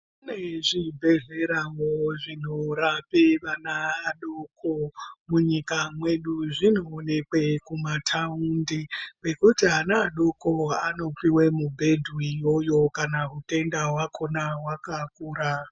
Kune zvibhedhleravo zvinorape ana adoko munyika mwedu. Zvinoonekwe kumataundi kwekuti ana adoko anopuwe mubhepa uyoyo kana utenda hwakona hwakakura.